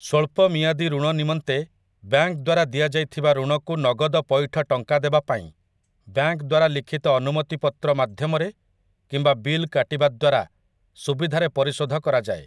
ସ୍ୱଳ୍ପ ମିଆଦି ଋଣ ନିମନ୍ତେ ବ୍ୟାଙ୍କଦ୍ୱାରା ଦିଆଯାଇଥିବା ଋଣକୁ ନଗଦ ପଇଠ ଟଙ୍କାଦେବା ପାଇଁ ବ୍ୟାଙ୍କ ଦ୍ୱାରା ଲିଖିତ ଅନୁମତି ପତ୍ର ମାଧ୍ୟମରେ କିମ୍ବା ବିଲ୍ କାଟିବା ଦ୍ୱାରା ସୁବିଧାରେ ପରିଶୋଧ କରାଯାଏ ।